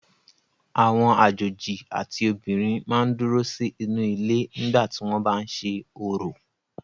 Àwọn àjòjì àti obìnrin máa ń dúró sí inú ilé nígbà tí wọ́n bá ń ṣe orò.